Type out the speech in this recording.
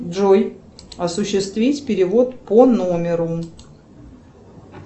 джой осуществить перевод по номеру